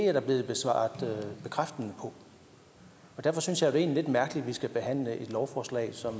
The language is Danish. er der blevet svaret bekræftende på derfor synes jeg det er lidt mærkeligt at vi skal behandle et lovforslag som